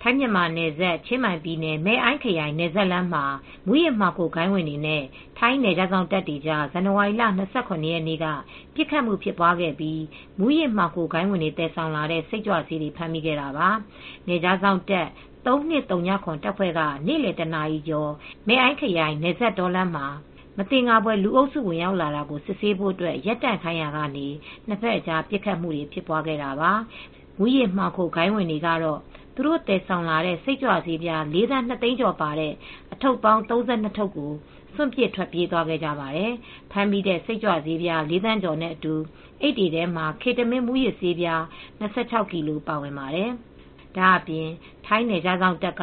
ထိုင်း မြန်မာနယ်စပ်ချင်းမိုင် ပြည်နယ် Mae Ai ခရိုင်နယ်စပ်လမ်းမှာ မူးယစ်မှောင်ခိုဂိုဏ်းဝင်တွေနဲ့ ထိုင်းနယ်ခြားစောင့်တပ်ကြား ဇန်နဝါရီလ ၂၇ရက်နေ့ က ပစ်ခတ်မှု ဖြစ်ပွားခဲ့ပြီး မူယစ်မှောင်ခိုဂိုဏ်းဝင်တွေ သယ်ဆောင်လာတဲ့ စိတ်ကြွဆေးတွေ ဖမ်းမိခဲ့တာပါ။ နယ်ခြားစောင့်တပ် ၃၂ဝ၇ တပ်ဖွဲ့က နေ့လည် တနာရီကျော် Mae Ai မယ့်အိုင်းခရိုင် နယ်စပ်တောလမ်းမှာ မသင်္ကာဖွယ် လုအုပ်စုဝင်ရောက်လာတာကို စစ်ဆေးဖို့ ရပ်တန့်ခိုင်းရာကနေ နှစ်ဖက်အကြား ပစ်ခတ်မူတွေဖြစ်ပွားခဲ့တာပါ။ မူးယစ်မှောင်ခိုဂိုဏ်းဝင်တွေကတော့ သူတို့သယ်ဆောင်လာတဲ့ စိတ်ကြွဆေး လေးသန်းနှစ်သိန်းကျော်ပါတဲ့ အထုတ်ပေါင်း ၃၂ထုပ်ကို စွန့်ပစ်ထွက်ပြေးသွားခဲ့ကြပါတယ်။ ဖမ်းမိတဲ့ စိတ်ကြွဆေးလေးသန်းကျော်နဲ့အတူ အိပ်တွေထဲမှာ Ketamine မူးယစ်ဆေး၂၆ကီလိုပါဝင်ပါတယ်။ ဒါအပြင် ထိုင်းနယ်ခြားစောင့်တပ်က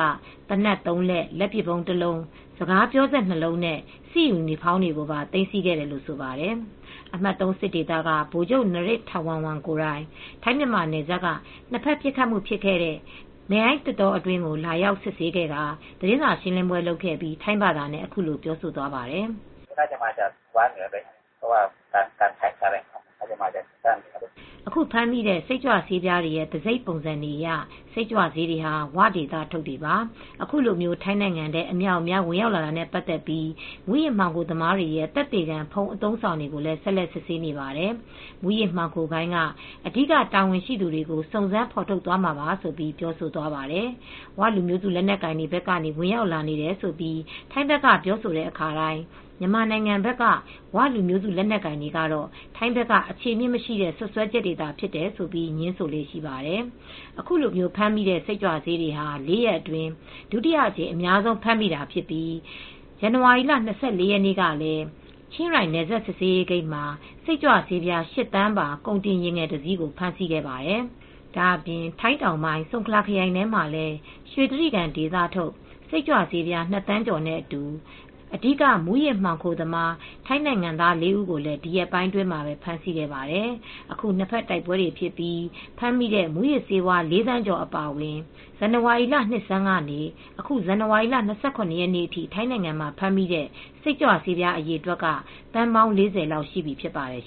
သေနတ်သုံးလက်၊ လက်ပစ်ဗုံးတလုံး၊ စကားပြောစက် ၂လုံး၊ စစ်ယူနီဖေါင်းတွေပါ သိမ်းဆည်းခဲ့တယ်လို့ဆိုပါတယ်။ အမှတ်(၃) စစ်ဒေသကဗိုလ်ချုပ် နရစ်ထာဝမ်ဝန် Maj. Gen. Narit Thawornwong,ကိုယ်တိုင် ထိုင်းမြန်မာနယ်စပ်က နှစ်ဖက်ပစ်ခတ်မူ့ဖြစ်ခဲ့တဲ့ Mae Ai သစ်တောအတွင်းကို လာရောက်စစ်ဆေးခဲ့ကာ သတင်းစာရှင်းလင်းပွဲလုပ်ခဲ့ပြီး ထိုင်းဘာသာနဲ့အခုလိုပြောသွားပါတယ်။ "အခုဖမ်းမိတဲ့ စိတ်ကြွဆေးပြားတွေရဲ့ တံဆိပ်ပုံစံတွေအရ စိတ်ကြွဆေးတွေဟာ ဝဒေသထုတ်တွေပါ။ အခုလို ထိုင်းနိုင်ငံထဲ အမြောက်အမြား ဝင်ရောက်လာတာနဲ့ပါတ်သက်ပြီး မူးယစ်မှောင်ခိုသမားတွေရဲ့သက်သေခံဖုန်း အသုံးအဆောင်တွေကို ဆက်လက်စစ်ဆေးနေပါတယ် ။မူးယစ်မှောင်ခိုဂိုဏ်းက အဓိကတာဝန်ရှှိသူတွေကို စုံစမ်းဖေါ်ထုတ်သွားမှာပါ " ဆိုပြီး ပြောဆိုသွားပါတယ် "ဝ" လူမျိုးစုလက်နက်ကိုင်တွေဘက်ကနေ ဝင်ရောက်လာနေတယ်လို့ ထိုင်းဘက်က ပြောဆိုတဲ့အခါတိုင်း မြန်မာနိုင်ငံဘက်က "ဝ" လူမျိုးစုလက်နက်ကိုင်တွေကတော့ ထိုင်းဘက်က အခြေအမြစ်မရှိတဲ့ စွတ်စွဲချက်တွေသာဖြစ်တယ်ဆိုပြီး ငြင်းဆိုလေ့ရှိပါတယ်။ အခုလိုဖမ်းမိတဲ့စိတ်ကြွဆေးတွေဟာ လေးရက်အတွင်းဒုတိယအကြိမ်အများဆုံးဖြစ်ပြီး ပြီးခဲ့တဲ့ ဇန်နဝါရီလ၂၄ရက်နေ့ကလည်း ချင်းရိုင်းနယ်စပ် စစ်ဆေးရေးဂိတ်မှာ စိတ်ကြွဆေး ၈သန်းပါ ကုန်တင်ယာဉ်ငယ်တစီးကို ဖမ်းဆီးခဲ့ပါတယ် ။ ဒါအပြင် ထိုင်းတောင်ပိုင်း ဆုန်ခလာခရိုင်ထဲမှာလည်း ရွှေတြိဂံဒေသထုတ်စိတ်ကြွဆေး ၂သန်းကျော်နဲ့အတူ အဓိက မူးယစ်မှောင်ခိုသမား ထိုင်းနိုင်ငံသားလေးဦးကိုလည်း ဒီရက်ပိုင်းအတွင်း ဖမ်းဆီးခဲ့ပါတယ် ။ အခု နှစ်ဖက်တိုက်ပွဲတွေဖြစ်ပြီး ဖမ်းမိတဲ့မူးယစ်ဆေးဝါး ၄သန်းကျော် အပါအဝင် ဇန်နဝါရီလ နှစ်ဆန်းကနေ အခု ဇန်နဝါရီလ ၂၇ ရက်နေ့အထိထိုင်းနိုင်ငံမှာ ဖမ်းမိတဲ့စိတ်ကြွဆေးပြားအရေအတွက်က သန်းပေါင်း၄ဝလောက်ရှိပြီဖြစ်ပါတယ်